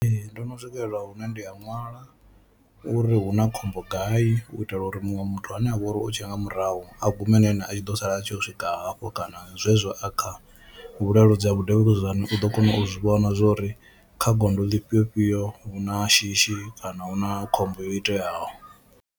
Ee, ndo no swikelela hune ndi a ṅwala uri hu na khombo gai u itela uri muṅwe muthu ane avha uri u tshe nga murahu a gume na ene a tshi ḓo sala a tshi yo u swika hafho kana zwezwo a kha vhuleludzi ha vhudavhuludzani u ḓo kona u zwi vhona zwori kha gondo ḽifhio fhio hu na shishi kana hu na khombo yo iteaho.